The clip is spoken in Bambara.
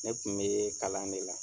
Ne tun bɛ kalan de la.